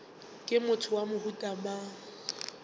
ke motho wa mohuta mang